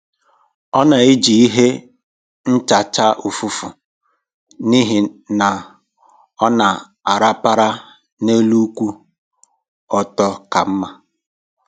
Ọ na-eji ihe nchacha ụfụfụ n'ihi na ọ na-arapara n'elu kwụ ọtọ ka mma.